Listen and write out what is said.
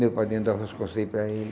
Meu padrinho dava os conselhos para ele.